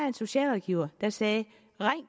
en socialrådgiver der sagde ring